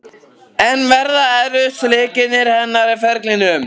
En verða þetta erfiðustu leikir hennar á ferlinum?